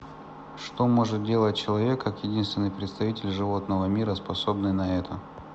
что может делать человек как единственный представитель животного мира способный на это